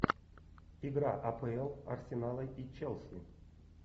игра апл арсенала и челси